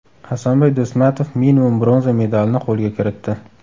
Hasanboy Do‘stmatov minimum bronza medalini qo‘lga kiritdi.